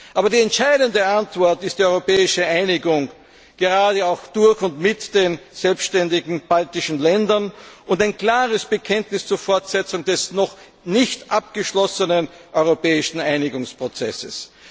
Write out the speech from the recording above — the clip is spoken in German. Aber die entscheidende Antwort ist die europäische Einigung, gerade auch mit den selbständigen baltischen Ländern, und ein klares Bekenntnis zur Fortsetzung des noch nicht abgeschlossenen europäischen Einigungsprozesses.